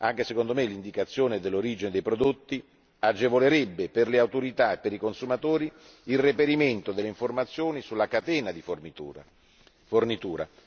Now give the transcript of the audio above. Concordo sul fatto che l'indicazione dell'origine dei prodotti agevolerebbe le autorità e i consumatori nel reperimento delle informazioni sulla catena di fornitura.